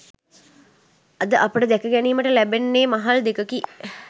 අද අපට දැක ගැනීමට ලැබෙන්නේ මහල් දෙකකි.